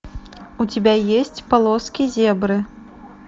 у тебя есть полоски зебры